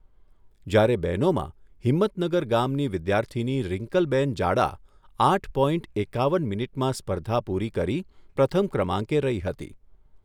જ્યારે બહેનોમાં હિંમતનગર ગામની વિદ્યાર્થીની રિન્કલબેન જાડા આઠ પોઇન્ટ એકાવન મિનિટમાં સ્પર્ધા પૂરી કરી પ્રથમ ક્રમાંકે રહી હતી.